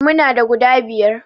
Muna da guda biyar